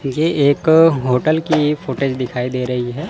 यह एक होटल की फुटेज दिखाई दे रही है।